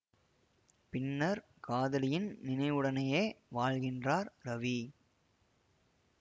பின்னர் காதலியின் நினைவுடனேயே வாழ்கின்றார் ரவி